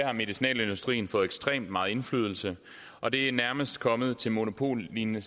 har medicinalindustrien fået ekstremt meget indflydelse og det er nærmest kommet til monopollignende